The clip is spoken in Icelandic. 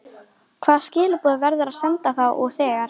Hvaða skilaboð verður að senda þá og þegar?